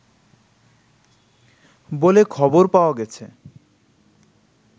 বলে খবর পাওয়া গেছে